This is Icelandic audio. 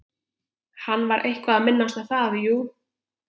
Hann var eitthvað að minnast á það, jú.